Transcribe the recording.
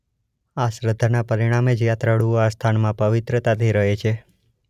આ શ્રદ્ધાને પરિણામે જ યાત્રાળુઓ આ સ્થાનમાં પવિત્રતાથી રહે છે.